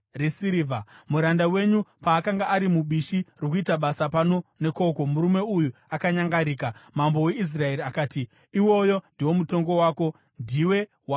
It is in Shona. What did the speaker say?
Muranda wenyu paakanga ari mubishi rokuita basa pano nekoko, murume uya akanyangarika.” Mambo weIsraeri akati, “Iwoyo ndiwo mutongo wako. Ndiwe wautaura woga.”